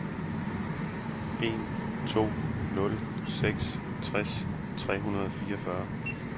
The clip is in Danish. en to nul seks tres tre hundrede og fireogfyrre